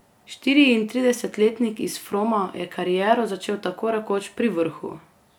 Štiriintridesetletnik iz Froma je kariero začel tako rekoč pri vrhu.